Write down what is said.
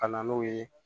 Ka na n'o ye